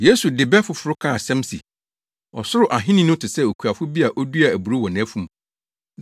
Yesu de bɛ foforo kaa asɛm se, “Ɔsoro Ahenni no te sɛ okuafo bi a oduaa aburow wɔ nʼafum.